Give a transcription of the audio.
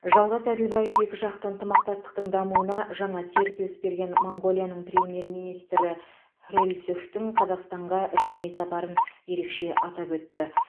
жалғас әділбаев екіжақты ынтымақтастықтың дамуына жаңа серпіліс берген моңғолияның премьер министрі хүрэлсүхтің қазақстанға ресми сапарын ерекше атап өтті